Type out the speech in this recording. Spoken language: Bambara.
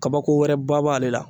Kabako wɛrɛ ba b'ale la.